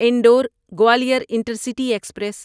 Indore Gwalior intercity express